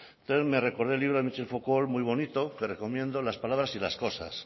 entonces me recordé el libro de michel foucault muy bonito que recomiendo las palabras y las cosas